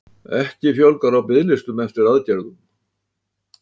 Ekki fjölgar á biðlistum eftir aðgerðum